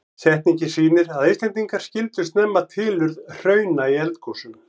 Setningin sýnir að Íslendingar skildu snemma tilurð hrauna í eldgosum.